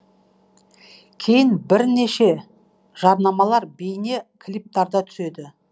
кейін бірнеше жарнамалар бейне клиптарда түседі